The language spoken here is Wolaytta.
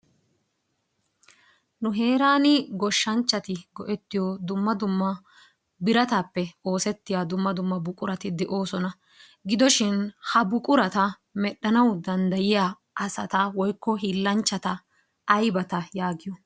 Nu heeran goshshanchchati go'ettiyo dumma dumma biratappe oosetiya dumma dumma buqurati de'oosona. Gidoshin ha buqurata medhdhanawu danddayiya asata woykko hiillanchchata aybata yaagiyo?